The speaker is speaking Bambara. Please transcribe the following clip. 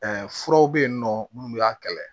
Ɛɛ furaw be yen nɔ munnu y'a kɛlɛ